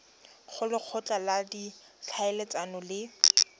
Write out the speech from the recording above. go lekgotla la ditlhaeletsano le